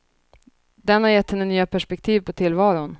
Den har gett henne nya perspektiv på tillvaron.